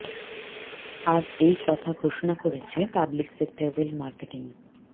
আজ এই কথা ঘোষণা করেছে পাবলিক সেক্টর ওয়েল মার্কেটিং